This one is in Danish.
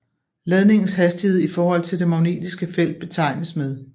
Ladningens hastighed i forhold til det magnetiske felt betegnes med